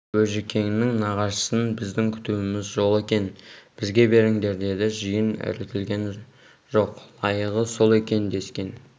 бөжікеңнің нағашысын біздің күтуіміз жол екен бізге беріңдер деді жиын іркілген жоқ лайығы сол екен дескен